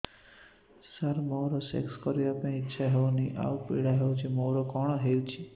ସାର ମୋର ସେକ୍ସ କରିବା ପାଇଁ ଇଚ୍ଛା ହଉନି ଆଉ ପୀଡା ହଉଚି ମୋର କଣ ହେଇଛି